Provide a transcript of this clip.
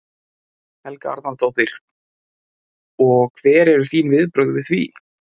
Helga Arnardóttir: Og hver eru þín viðbrögð við því?